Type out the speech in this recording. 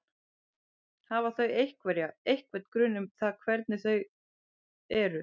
Hafa þau einhverja, einhvern grun um það hvernig hvernig þau eru?